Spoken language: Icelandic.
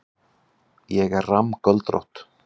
Ég er rammgöldrótt.